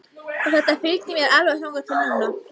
Og þetta fylgdi mér alveg þangað til núna.